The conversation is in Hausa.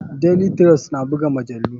Daily trust na buga majalu.